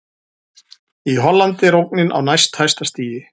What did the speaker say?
Í Hollandi er ógnin á næst hæsta stigi.